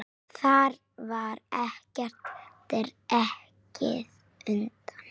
Þar var ekkert dregið undan.